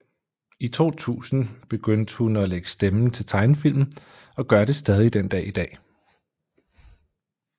I 2000 begyndte hun at lægge stemme til tegnefilm og gør det stadig den dag i dag